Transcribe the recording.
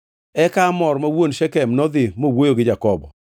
Eka Hamor ma wuon Shekem nodhi mowuoyo gi Jakobo.